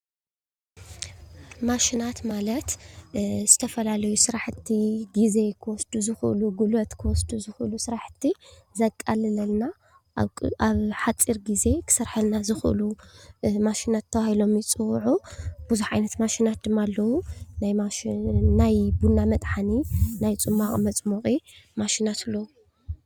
ማሽናት ማለት ዝተፈላለዩ ስራሕቲ ግዜ ክወስዱ ዝክእሉ፣ ጉልበት ክወስዱ ዝኽእሉ ስራሕቲ ዘቃልለልና ኣብ ሓፂር ግዜ ክሰርሓልና ዝኽእሉ ማሽናት ተባሂሎም ይፅውዑ ብዙሕ ዓይነት ማሽናት ድማ ኣለው ናይ ቡና መጥሓኒ፣ ናይ ፅሟቅ መፅሞቂ ማሽናት ኣለው ።